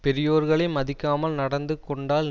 பெரியோர்களை மதிக்காமல் நடந்து கொண்டால்